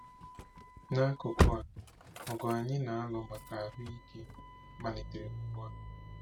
N'akụkụ a, ọgụ anyị na-alụ maka ahụ ike malitere ugbu a.